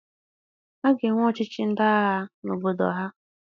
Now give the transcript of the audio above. A ga-enwe ọchịchị ndị agha n'obodo ha.